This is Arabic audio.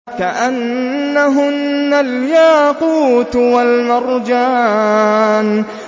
كَأَنَّهُنَّ الْيَاقُوتُ وَالْمَرْجَانُ